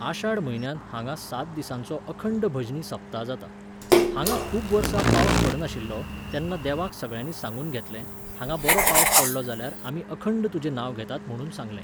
आशाढ म्हयन्यांत हांगा सात दिसांचो अखंड भजनी सप्ता जाता. हांगां खूब वर्सां पावस पडनाशिल्लो, तेन्ना देवाक सगळ्यांनी सांगून घेतलें, हांगा बरो पावस पडलो जाल्यार आमी अखंड तुजें नांव घेतात म्हुणून सांगलें